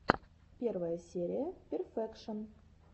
первая серия перфекшон